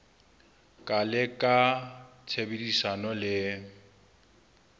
ka le ka tshebedisano le